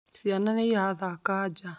Ciana nĩ irathaka nja